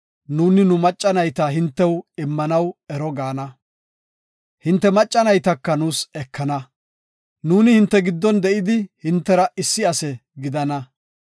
nuuni nu macca nayta hintew immanaw Ero gaana. Hinte macca naytaka nuus ekana. Nuuni hinte giddon de7idi hintera issi ase gidana.